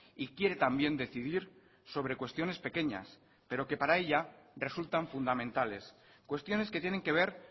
y quiere también decidir sobre cuestiones pequeñas pero que para ella resultan fundamentales cuestiones que tienen que ver